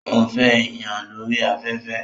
Ó ń fẹ́ èèyàn lórí afẹ́fẹ́